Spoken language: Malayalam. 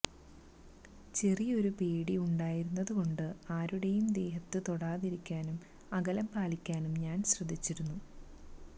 ചെറിയൊരു പേടി ഉണ്ടായിരുന്നതുകൊണ്ട് ആരുടെയും ദേഹത്തു തൊടതിരിക്കാനും അകലം പാലിക്കാനും ഞാന് ശ്രദ്ധിച്ചിരുന്നു